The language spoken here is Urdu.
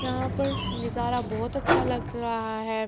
یہا پر نظارہ بہت اچھا لگ رہا ہے